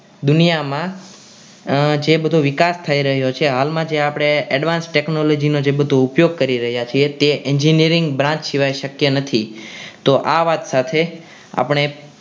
દુનિયામાં જે બધું વિકાસ થઈ રહ્યો છે હાલમાં જે આપણે advance technology જે બધું ઉપયોગ કરી રહ્યા છીએ તે engineering branch સિવાય શક્ય નથી તો આ વાત સાથે આપણે